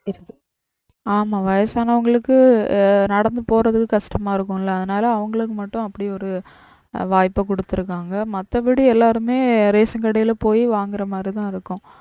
ஆமாம் வயசானவங்களுக்கு ஆஹ் நடந்து போறது கஷ்டமா இருக்கும்ல. அதுனால அவங்களுக்கு மட்டும் அப்படி ஒரு வாய்ப்பு கொடுத்திருக்காங்க. மத்தபடி எல்லாருமே ration கடையில போய் வாங்குறது மாதிரிதான் இருக்கும்.